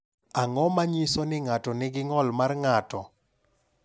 Ang’o ma nyiso ni ng’ato nigi ng’ol mar ng’ato?